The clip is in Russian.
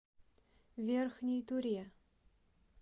верхней туре